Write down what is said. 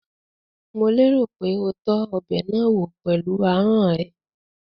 Mò lérò pé o tọ́ ọbẹ̀ náà wò pẹ̀lú ahọ́n ẹ?